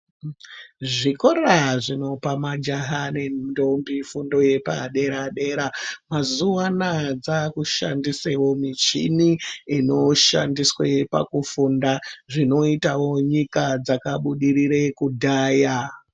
Zvikora zvinopa majaha nendombi fundo Yepadera dera mazuva anawa dzakushandisa michini inoshandiswa pakufunda zvinoitawo nyika dzakabudirira kudhaya.